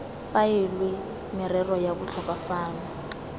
faelwe merero ya botlhokwa fano